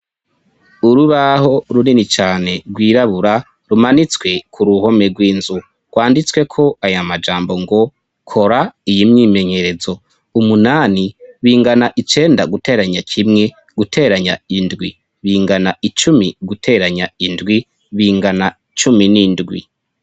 Urubaho runini cyane rwirabura rumanitswe ku ruhome rw'inzu; rwanditswe ko aya majambo ngo kora iyi mwimenyerezo umunani bingana icenda guteranya kimwe guteranya indwi bingana icumi guteranya indwi bingana cumi n'indwi.